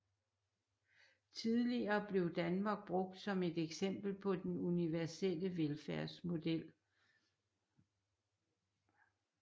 Tidligere blev Danmark brugt som et eksempel på den universelle velfærdsmodel